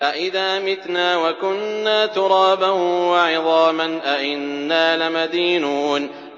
أَإِذَا مِتْنَا وَكُنَّا تُرَابًا وَعِظَامًا أَإِنَّا لَمَدِينُونَ